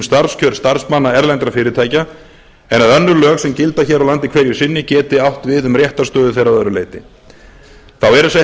starfskjör starfsmanna erlendra fyrirtækja en að önnur lög sem gilda hér á land hverju sinni geti átt við um réttarstöðu þeirra að öðru leyti þá eru sett